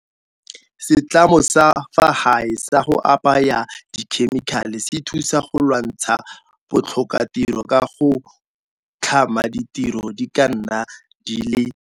Setlamo sa fa gae sa go apaya dikhemikhale se thusa go lwantsha bo tlhokatiro ka go tlhama ditiro di ka nna di le.